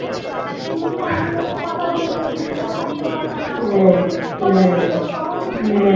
কথা বলবে, চুপ করে থাকতে পারবো না. ও তখন তো তুমি বলতে পারবে না